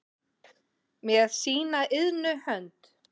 með sína iðnu hönd